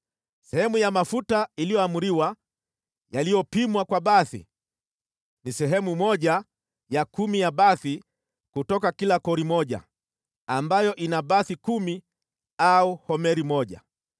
Sehemu ya mafuta iliyoamriwa, yaliyopimwa kwa bathi, ni sehemu ya kumi ya bathi kutoka kila kori moja (ambayo ina bathi kumi au homeri moja.)